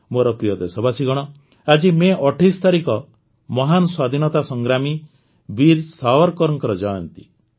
ମୋର ପ୍ରିୟ ଦେଶବାସୀଗଣ ଆଜି ମେ ୨୮ ତାରିଖ ମହାନ ସ୍ୱାଧୀନତା ସଂଗ୍ରାମୀ ବୀର ସାୱରକରଙ୍କ ଜୟନ୍ତୀ